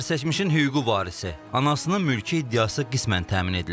Zərərçəkmişin hüquqi varisi anasının mülki iddiası qismən təmin edilib.